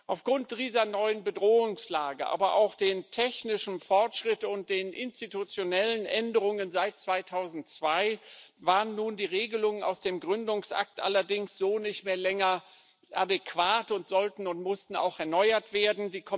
Aufgrund dieser neuen Bedrohungslage, aber auch des technischen Fortschritts und der institutionellen Änderungen seit 2002 waren nun die Regelungen aus dem Gründungsakt allerdings so nicht mehr länger adäquat und sollten und mussten auch erneuert werden.